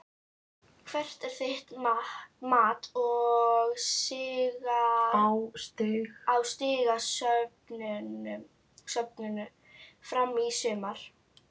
Hvert er þitt mat á stigasöfnun Fram í sumar?